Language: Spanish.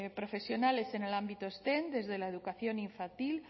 profesionales en el ámbito steam desde la educación infantil